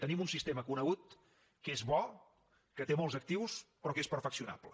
tenim un sistema conegut que és bo que té molts actius però que és perfeccionable